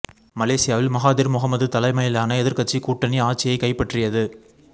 மலேசியாவில் Mahathir Mohamad தலைமையிலான எதிர்க்கட்சி கூட்டணி ஆட்சியை கைப்பற்றியது